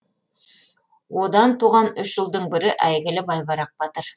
одан туған үш ұлдың бірі әйгілі байбарақ батыр